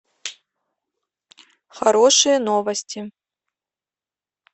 хорошие новости